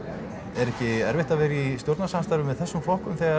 er ekki erfitt að vera í stjórnarsamstarfi með þessum flokkum þegar